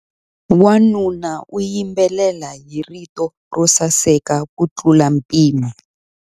Wanuna u yimbelela hi rito ro saseka kutlula mpimo.